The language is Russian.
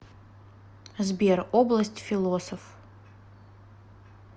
сбер область философ